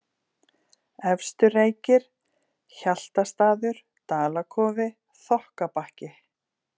Efstu-Reykir, Hjaltastaður, Dalakofi, Þokkabakki